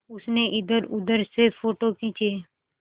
उसने इधरउधर से फ़ोटो खींचे